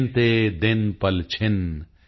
ਗਿਨਤੇ ਦਿਨ ਪਲਛਿਨ